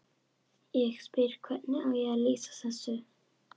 Ég spyr: Hvernig á ég að lýsa þessu?